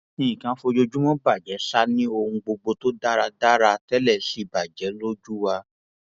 nǹkan kan ń fojoojúmọ bàjẹ ṣáá ni ohun gbogbo tó dára dáadáa tẹlẹ sì bàjẹ lójú wa